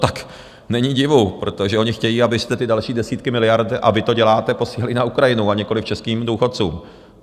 Tak není divu, protože oni chtějí, abyste ty další desítky miliard - a vy to děláte - posílali na Ukrajinu, a nikoliv českým důchodcům.